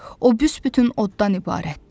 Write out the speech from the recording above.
O büsbütün oddan ibarətdir.